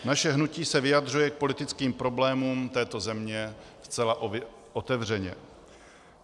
Naše hnutí se vyjadřuje k politickým problémům této země zcela otevřeně.